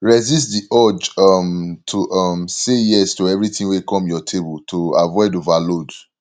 resist di urge um to um say yes to everything wey come your table to avoid overload